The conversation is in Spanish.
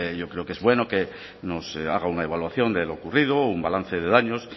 yo creo que es bueno que nos haga una evaluación de lo ocurrido un balance de daños